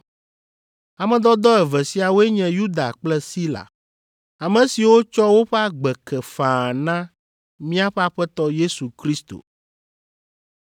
Ame dɔdɔ eve siawoe nye Yuda kple Sila, ame siwo tsɔ woƒe agbe ke faa na míaƒe Aƒetɔ Yesu Kristo.